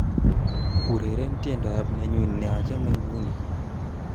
Ureren tiendoab nenyu nachame nguni